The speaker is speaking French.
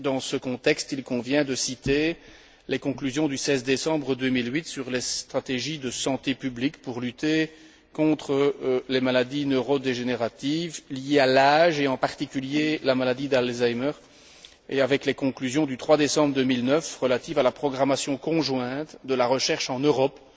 Dans ce contexte, il convient de citer les conclusions du 16 décembre 2008 sur les stratégies de santé publique pour lutter contre les maladies neurodégénératives liées à l'âge et, en particulier, la maladie d'Alzheimer, et les conclusions du 3 décembre 2009 relatives à la programmation conjointe de la recherche en Europe,